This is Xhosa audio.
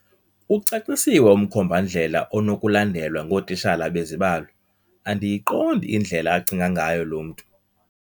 Ucacisiwe umkhombandlela onokulandelwa ngootitshala bezibalo. Andiyiqondi indlela acinga ngayo lo mntu